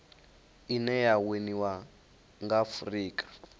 ine ya winiwa nga afurika